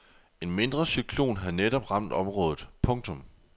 En mindre cyklon havde netop ramt området. punktum